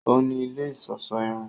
O ní ilé iṣọṣọ irun